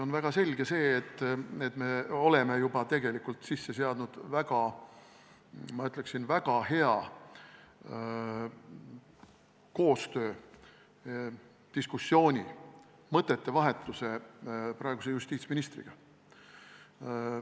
On väga selge, et me oleme juba tegelikult sisse seadnud, ma ütleksin, väga hea koostöö, diskussiooni, mõtete vahetuse praeguse justiitsministriga.